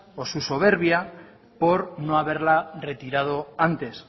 o su soberbia por no haberla retirado antes